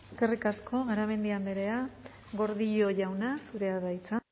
eskerrik asko garamendi andrea gordillo jauna zurea da hitza